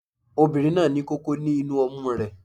Obìnrin náà ní kókó ní inú ọmú rẹ